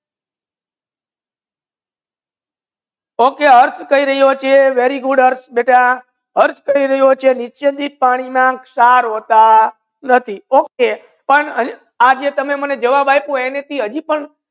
Okay અર્થ કહી રહીયો છે very good અર્થ બેટા અર્થ કહી રહીયો છે નીચે થી પાણી માં સાર હોતા નથી okay પર આ જે તમે મને જવાબ આપજો એની થી આજી પણ